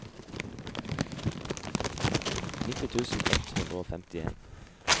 nitti tusen ett hundre og femtien